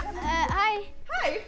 hæ hæ